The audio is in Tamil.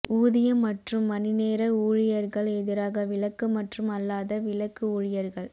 ஊதியம் மற்றும் மணிநேர ஊழியர்கள் எதிராக விலக்கு மற்றும் அல்லாத விலக்கு ஊழியர்கள்